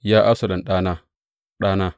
Ya Absalom, ɗana, ɗana!